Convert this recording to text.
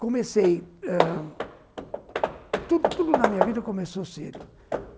Comecei... ãh... Tudo tudo na minha vida começou cedo.